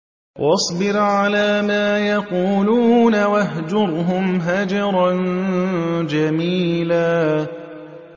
وَاصْبِرْ عَلَىٰ مَا يَقُولُونَ وَاهْجُرْهُمْ هَجْرًا جَمِيلًا